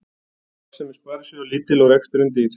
Arðsemi sparisjóða lítil og reksturinn dýr